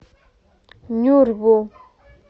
нюрбу